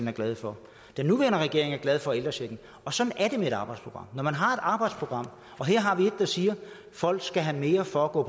er glade for den nuværende regering er glade for ældrechecken og sådan er det med et arbejdsprogram når man har et arbejdsprogram og her har vi et der siger at folk skal have mere for at gå